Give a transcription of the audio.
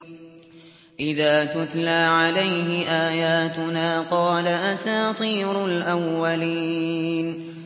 إِذَا تُتْلَىٰ عَلَيْهِ آيَاتُنَا قَالَ أَسَاطِيرُ الْأَوَّلِينَ